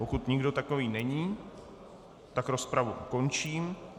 Pokud nikdo takový není, tak rozpravu ukončím.